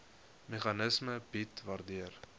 meganisme bied waardeur